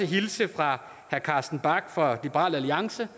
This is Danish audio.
hilse fra herre carsten bach fra liberal alliance